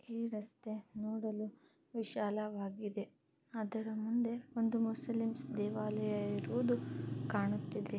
ಈ ರಸ್ತೆ ನೋಡಲು ವಿಶಾಲವಾಗಿದೆ ಅದರ ಮುಂದೆ ಮುಸ್ಲಿಮ್ಸ್ ದೇವಾಲಯ ಇರುವುದು ಕಾಣುತ್ತಿದೆ .